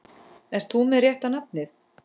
Ert þú með rétta nafnið?